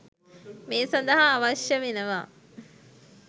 මේ සඳහා අවශ්‍ය වෙනවා.